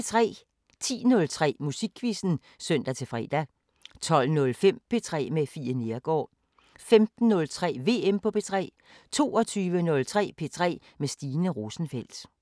10:03: Musikquizzen (søn-fre) 12:05: P3 med Fie Neergaard 15:03: VM på P3 22:03: P3 med Stine Rosenfeldt